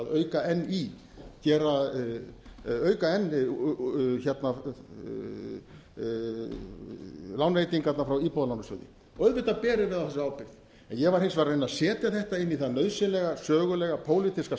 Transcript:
tvö þúsund og átta að auka enn í auka enn lánveitingarnar frá íbúðalánasjóði auðvitað berum við á þessu ábyrgð ég var hins vegar að reyna að setja þetta inn í það nauðsynlega sögulega pólitíska